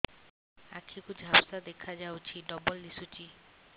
ଆଖି କୁ ଝାପ୍ସା ଦେଖାଯାଉଛି ଡବଳ ଦିଶୁଚି